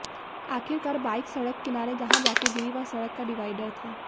आखिर car bike सड़क किनारे जहां जाकर गिरी वह सड़क का डिवाइडर था